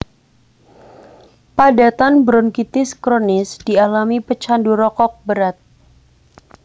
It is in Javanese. Padatan bronkitis kronis dialami pecandu rokok berat